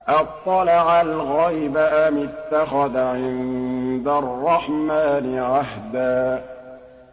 أَطَّلَعَ الْغَيْبَ أَمِ اتَّخَذَ عِندَ الرَّحْمَٰنِ عَهْدًا